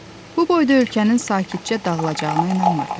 Bu boyda ölkənin sakitcə dağılacağına inanmırdı.